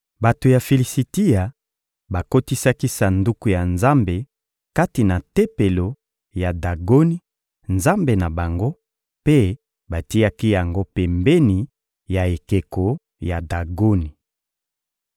Bato ya Filisitia bakotisaki Sanduku ya Nzambe kati na tempelo ya Dagoni, nzambe na bango, mpe batiaki yango pembeni ya ekeko ya Dagoni.